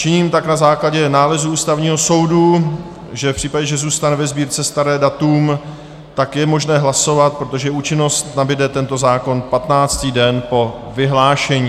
Činím tak na základě nálezu Ústavního soudu, že v případě, že zůstane ve Sbírce staré datum, tak je možné hlasovat, protože účinnost nabude tento zákon 15. den po vyhlášení.